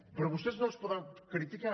però vostès no els poden criticar